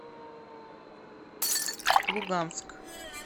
луганск